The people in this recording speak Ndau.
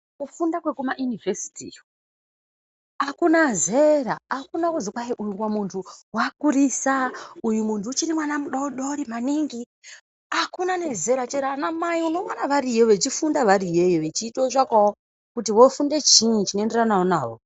Kufunda kweku ma yunivhesiti iyo akuna zera akuna kuzi kwai mumwe muntu akurisa uyu muntu uchiri mwana mudodiri maningi akuna ne vezera chero ana mai uno ona veriyo vachi funda variyo iyoyo vechito tsvakawo kuti vofunde chinyi chino enderanawo nawo.